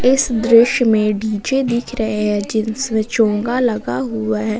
इस दृश्य में डी_जे दिख रहे हैं जिसमें चोगा लगा हुआ है।